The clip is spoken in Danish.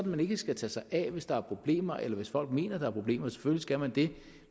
man ikke skal tage sig af det hvis der er problemer eller hvis folk mener at der er problemer selvfølgelig skal man det